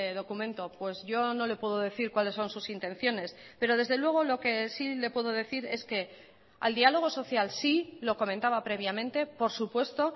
documento pues yo no le puedo decir cuáles son sus intenciones pero desde luego lo que sí le puedo decir es que al dialogo social sí lo comentaba previamente por supuesto